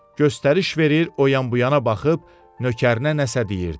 Göstəriş verir, o yan-bu yana baxıb nökərinə nəsə deyirdi.